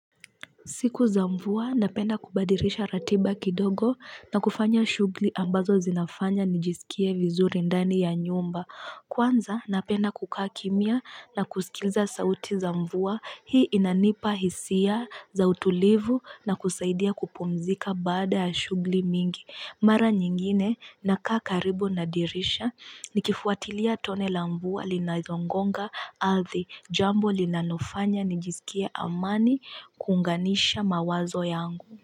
Siku za mvua napenda kubadilisha ratiba kidogo na kufanya shughuli ambazo zinafanya nijisikie vizuri ndani ya nyumba. Kwanza napenda kukaa kimya na kusikiliza sauti za mvua hii inanipa hisia za utulivu na kusaidia kupumzika baada ya shugli mingi. Mara nyingine na kaa karibu na dirisha nikifuatilia tone la mvua linazongonga ardhi jambo linanofanya nijisikie amani kuunganisha mawazo yangu.